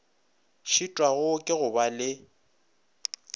šitwago ke go ba le